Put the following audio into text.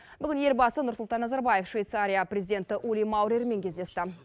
бүгін елбасы нұрсұлтан назарбаев швейцария президенті ули маурермен кездесті